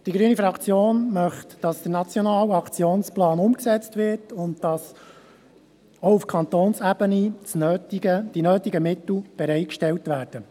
Die grüne Fraktion möchte, dass der Nationale Aktionsplan umgesetzt wird und dass auch auf Kantonsebene die nötigen Mittel bereitgestellt werden.